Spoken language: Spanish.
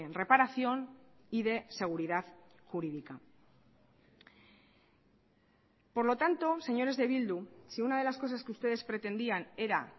reparación y de seguridad jurídica por lo tanto señores de bildu si una de las cosas que ustedes pretendían era